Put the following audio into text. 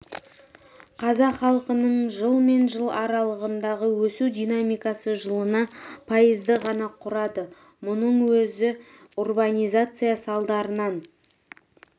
қазақ халқының жыл мен жыл аралығындағы өсу динамикасы жылына пайызды ғана құрады мұның өзі урбанизация салдарынан